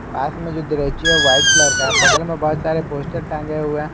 पास में जो है व्हाइट कलर का है बगल में बहुत सारे पोस्टर टांगे हुए--